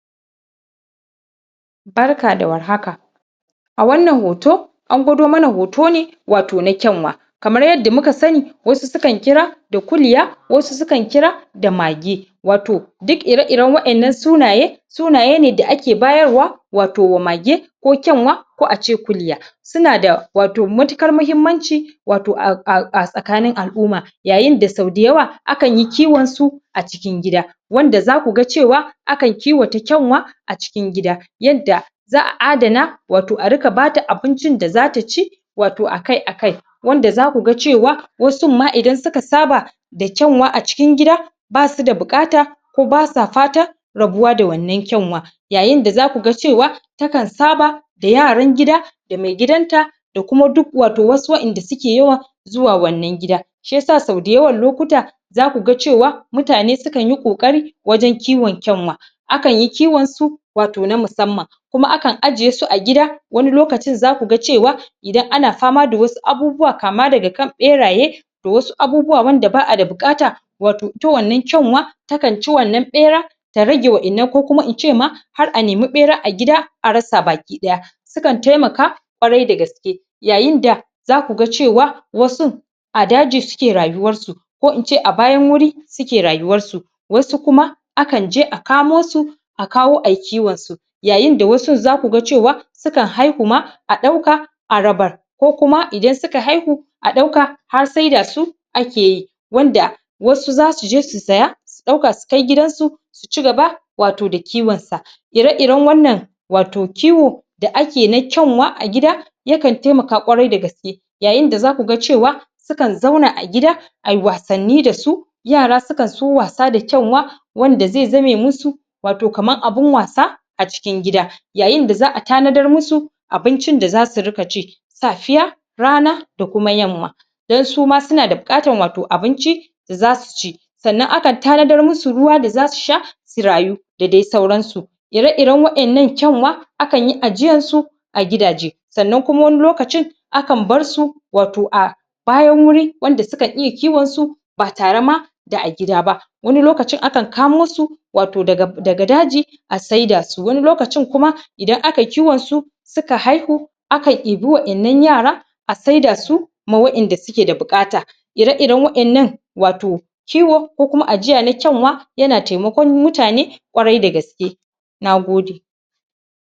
Barka da war haka a wannan hoto an gwado mana hoto ne wato na kyanwa kamar yadda muka sani wasu su kan kira da kulya wasu su kan kira da mage wato duk ire-iren waƴannan sunaye sunaye ne da ake bayarwa wato wa mage ko kyanwa ko acwe kulya su na da wato matukar muhimmanci wato a tsakanin al'uma yayin da sau dayawa akan yi kiwon su a cikin gida wanda za ku ga cewa akan kiwata kyanwa a cikin gida yadda za a adana wato a rika ba ta abincin da a ta ci wato akai-akai wanda za ku ga cewa wasun ma idan su ka saba da kyanwa a cikin gida ba su da buƙata ko ba sa fatan rabuwa da wannan kyanwa yayin da za ku ga cewa ta kan saba da yaran gida da mai gidanta da kuma duk wato wasu waƴanda suke yawa zuwa wannan gida shi yasa sau dayawan lokuta za ku ga cewa mutane su kan yi ƙoƙari wajen kiwon kyanwa akan yi kiwon su wato na musamman kuma kan ajiye su a gida wani lokacin za ku ga cewa idan ana fama da wasu abubuwa kama daga kan ɓeraye da wasu abubuwa wanda ba a da buƙata wato ita wannan kyanwa ta kan ci wannan ɓera ta rage waƴannan ko kuma in ce ma har a nemi ɓera a gida a rasa baki-ɗaya su kan temaka kwarai da gaske yayin da za ku ga cewa wasun a daji suke rayuwarsu ko in ce a bayan wuri suke rayuwarsu wasu kuma akan je a kamo su a kawo a yi kiwon su yayin da wasun za ku ga cewa su kan haihu ma a ɗauka a rabar ko kuma idan su ka haihu a dauka har saida su ake yi wanda wasu za su je su saya su ɗauka su kai gidansu su ci gaba wato da kiwon sa ire-iren wannan wato kiwo da ake na kyanwa a gida ya kan taimaka kwarai da gaske yayin da za ku ga cewa su kan zauna a gida a yi wasanni da su yara su kan so wasa da kyanwa wanda ze zame musu wato kaman abun wasa a cikin gida yayin da za a tanadar musu abincin da za su rika ci safiya rana da kuma yamma don su ma su na da bukatan wato abinci da za su ci sannan akan tanadar musu ruwa da za su sha su rayu da de sauransu ire-iren waƴannan kyanwa akan yi ajiyan su a gidaje sannan kuma wani lokacin akan bar su wato a bayan wuri wanda su kan iya kiwon su ba tare ma da a gida ba wani lokacin akan kamo su wato daga daji a saida su wani lokacin kuma idan aka yi kiwon su su ka haihu akan ibi waƴannan yara a saida su ma waƴanda suke da buƙata ire-iren waƴannan wato kiwo ko kuma ajiya na kyanwa yana temakon mutane kwarai da gaske